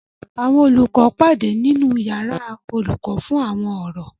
Àwọn olùkọ́ pàdé nínu yàrá olùkọ́ fún àwọn ọ̀rọ̀